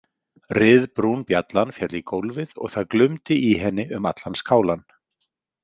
Ryðbrún bjallan féll í gólfið og það glumdi í henni um allan skálann.